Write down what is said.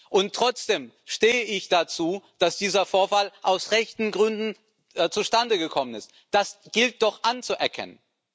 Und trotzdem stehe ich dazu, dass dieser Vorfall aus rechten Gründen zustande gekommen ist das gilt es doch anzuerkennen.